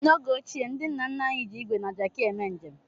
N'oge ochie, ndị nna nna anyị ji ígwè na Jaki eme njem.